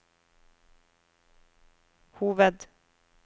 hoved